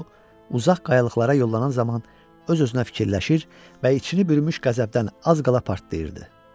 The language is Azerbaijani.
O uzaq qayalıqlara yollanan zaman o özünə fikirləşir və içini bürümüş qəzəbdən az qala partlayırdı.